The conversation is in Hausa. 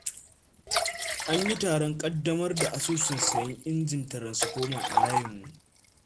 An yi taron ƙaddamar da asusun sayen injin taransifoma, a layinmu.